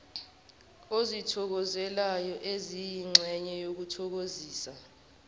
ozithokozelayo eziyingxenye yokunyakazisa